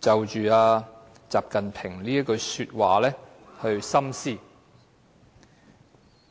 深思習近平這句話。